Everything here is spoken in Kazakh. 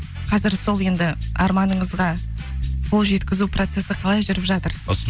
қазір сол енді арманыңызға қол жеткізу процессі қалай жүріп жатыр